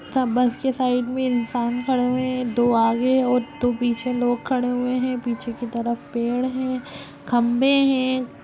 ता बस के साइड में इंसान खड़े हुए हैं दो आगे और दो पीछे लोग खड़े हुए हैं पीछे की तरफ पेड़ हैं खंबे हैं।